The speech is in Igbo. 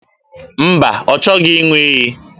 Mba, ọ chọghị ịṅụ iyi